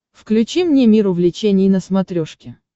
включи мне мир увлечений на смотрешке